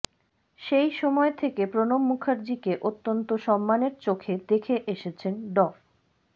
সেই সময় থেকে প্রণব মুখার্জিকে অত্যন্ত সম্মানের চোখে দেখে এসেছেন ড